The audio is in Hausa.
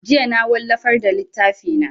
Jiya na wallafar da littafi na